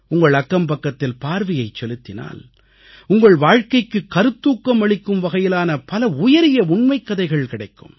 உங்கள் அக்கம்பக்கத்தில் பார்வையைச் செலுத்தினால் உங்கள் வாழ்க்கைக்கு கருத்தூக்கம் அளிக்கும் வகையிலான பல உயரிய உண்மைக்கதைகள் கிடைக்கும்